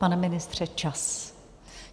Pane ministře, čas!